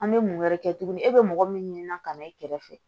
An bɛ mun wɛrɛ kɛ tuguni e bɛ mɔgɔ min ɲini na ka na e kɛrɛfɛ